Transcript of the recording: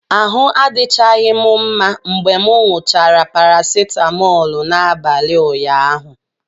Ahụ adịchaghị m mma mgbe m ṅụsịrị paracetamol n'abalị ụnyaahụ.